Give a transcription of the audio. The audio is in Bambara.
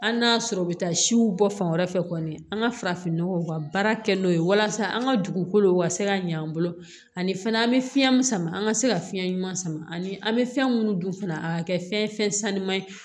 Hali n'a y'a sɔrɔ u bɛ taa siw bɔ fan wɛrɛ fɛ kɔni an ka farafinnɔgɔw ka baara kɛ n'o ye walasa an ka dugukolow ka se ka ɲa an bolo ani fana an bɛ fiɲɛ min sama an ka se ka fiɲɛ ɲuman sama ani an bɛ fɛn minnu dun fana a ka kɛ fɛn sanuman ye